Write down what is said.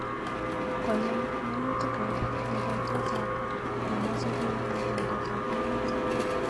Konon ngalutikab labatetab nemache koek kandoindetab emet